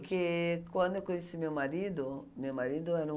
Porque quando eu conheci meu marido, meu marido era um...